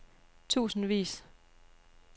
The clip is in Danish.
tusindvis